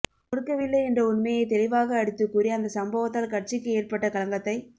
கொடுக்கவில்லை என்ற உண்மையை தெளிவாக அடித்துக் கூறி அந்த சம்பவத்தால் கட்சிக்கு ஏற்பட்ட களங்கத்தைத்